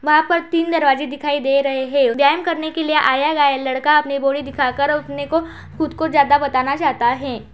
वहाँ पर तीन दरवाजें दिखाई दे रहै हैं। व्यायाम करने के लिए आया गाया लड़का अपनी बॉडी दिखाकर अपने को खुद को ज्यादा बताना चाहता है।